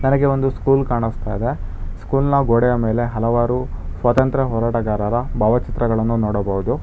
ನನಗೆ ಒಂದು ಸ್ಕೂಲ್ ಕಾಣುಸ್ತಿದೆ ಸ್ಕೂಲ್ನ ಗೋಡೆಯ ಮೇಲೆ ಹಲವಾರು ಸ್ವಾತಂತ್ರ ಹೋರಾಟಗಾರರ ಭಾವಚಿತ್ರವನ್ನು ನೋಡಬಹುದು.